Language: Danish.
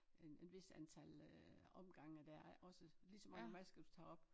En en hvis antal øh omgange dér er og også lige så mange masker du tager op